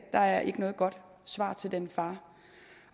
er ikke noget godt svar til den far